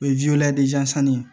O ye ye